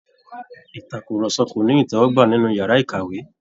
Ìtàkùrọ̀sọ́ ko ní itẹwọgbà nínú yàrá ìkàwé.